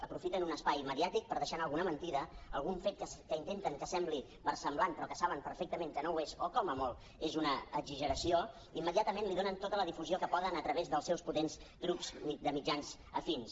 aprofiten un espai mediàtic per deixar anar alguna mentida algun fet que intenten que sembli versemblant però que saben perfectament que no ho és o com a molt és una exageració i immediatament li donen tota la difusió que poden a través dels seus potents grups de mitjans afins